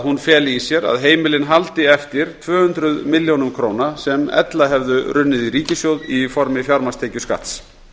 hún feli í sér að heimilin haldi eftir tvö hundruð milljóna króna á ári sem ella hefðu runnið í ríkissjóð í formi fjármagnstekjuskatts